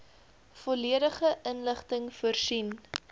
volledige inligting voorsien